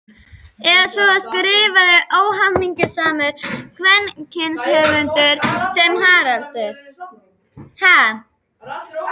Eða svo skrifaði óhamingjusamur kvenrithöfundur sem Haraldur